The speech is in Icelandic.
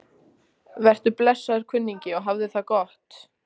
Vertu blessaður, kunningi, og hafðu það gott.